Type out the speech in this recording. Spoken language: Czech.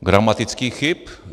Gramatických chyb.